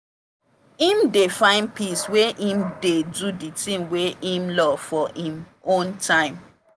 him dey find peace when him dey do the thing wey him love for him own time.